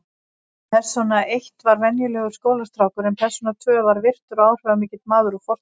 Persóna eitt var venjulegur skólastrákur en persóna tvö var virtur og áhrifamikill maður úr fortíð.